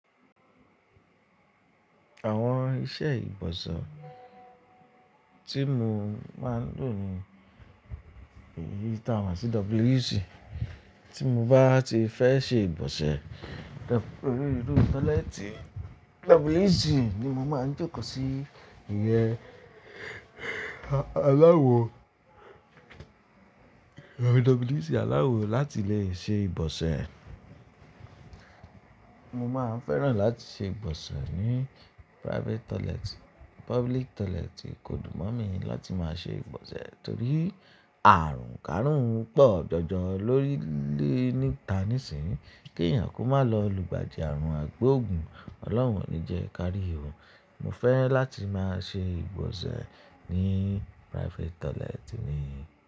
Àwọn iṣẹ́ ìgbọ̀nsẹ̀ tí mo máa ń lò ni ìyí ta máa sí WC. Tí mo bá ti fẹ́ ṣe ìgbọ̀nsẹ̀, torí irú tọ́lẹ́ẹ́tì WC ni mo máa ń jókòó sí ìyẹn aláwo. WC aláwo láti lè ṣe ìgbọ̀nsẹ̀. Mo máa ń fẹ́ràn láti ṣe ìgbọ̀nsẹ̀ ní private toilet. Public toilet kò dùn mọ́ mi láti máa ṣe ìgbọ̀nsẹ̀ torí àrùn kárùn pọ̀ jọjọ lórí lé níta nísinyìí. Kí èèyàn kó má lọ lu ìgbà di àrùn àgbo ògùn, Ọlọ́run ò ní jẹ ká rí i. Mo fẹ́ láti máa ṣe ìgbọ̀nsẹ̀ ní private toilet mi.